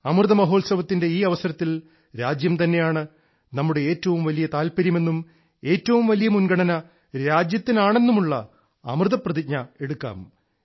അമൃത മഹോത്സവത്തിന്റെ ഈ അവസരത്തിൽ രാജ്യം തന്നെയാണ് നമ്മുടെ ഏറ്റവും വലിയ താൽപര്യമെന്നും ഏറ്റവും വലിയ മുൻഗണന രാജ്യത്തിനാണെന്നുമുള്ള അമൃത പ്രതിജ്ഞ എടുക്കാം